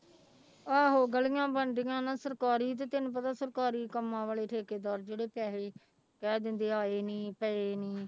ਆਹੋ ਗਲੀਆਂ ਬਣਦੀਆਂ ਨਾ ਸਰਕਾਰੀ ਤੇ ਤੈਨੂੰ ਪਤਾ ਸਰਕਾਰੀ ਕੰਮਾਂ ਵਾਲੇ ਠੇਕੇਦਾਦਰ ਜਿਹੜੇ ਪੈਸੇ ਕਹਿ ਦਿੰਦੇ ਆਏ ਨੀ ਪਏ ਨੀ।